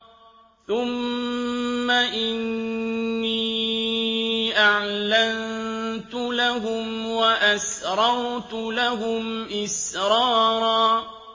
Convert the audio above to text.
ثُمَّ إِنِّي أَعْلَنتُ لَهُمْ وَأَسْرَرْتُ لَهُمْ إِسْرَارًا